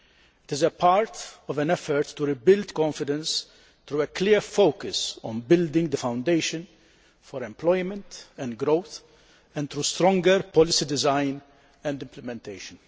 It is part of an effort to rebuild confidence through a clear focus on building the foundations for employment and growth and through stronger policy design and implementation.